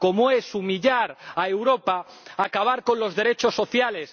Como es humillar a Europa acabar con los derechos sociales.